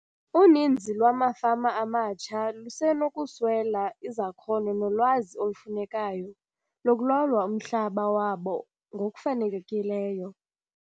Uninzi lwamafama amatsha lusenokuswela izakhono nolwazi olufunekayo lokulawulwa umhlaba wabo ngokufanelekileyo.